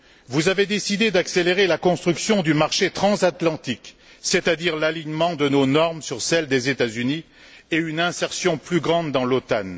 Vous avez décidé d'accélérer la construction du marché transatlantique, c'est à dire l'alignement de nos normes sur celles des États Unis et une insertion plus grande dans l'OTAN.